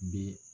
Bɛ